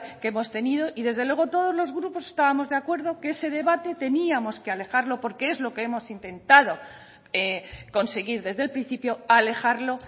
que hemos tenido y desde luego todos los grupos estábamos de acuerdo que ese debate teníamos que alejarlo porque es lo que hemos intentado conseguir desde el principio alejarlo